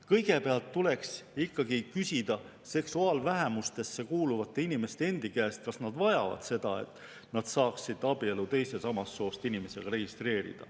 Kõigepealt tuleks ikkagi küsida seksuaalvähemustesse kuuluvate inimeste endi käest, kas nad vajavad seda, et nad saaksid registreerida abielu teise samast soost inimesega.